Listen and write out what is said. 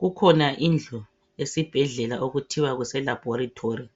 kukhona indlu esibhedlela okuthiwa kuse laboritary